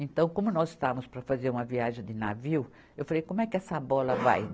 Então, como nós estávamos para fazer uma viagem de navio, eu falei, como é que essa bola vai?